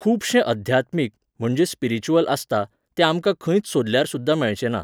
खुबशें अध्यात्मीक, म्हणजे स्पिरिच्युअल आसता, तें आमकां खंयच सोदल्यार सुद्दां मेळचेना